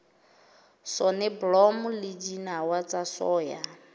soneblomo le dinawa tsa soya